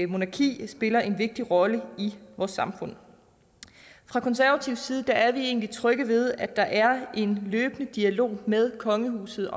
monarki spiller en vigtig rolle i vores samfund fra konservativ side er vi egentlig trygge ved at der er en løbende dialog med kongehuset